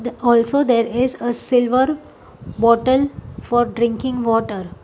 The also there is a silver bottle for drinking water.